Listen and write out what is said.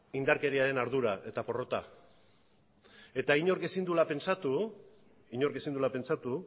indarkeriaren ardura eta porrota eta inork ezin duela pentsatu